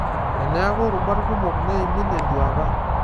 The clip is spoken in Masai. Teneaku rubat kumok neimin enduata.